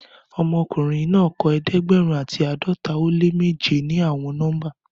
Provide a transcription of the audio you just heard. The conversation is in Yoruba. Ọmọkunrin naa kọ ẹdẹgbẹrun ati ãdọta o le meje ni awọn nọmba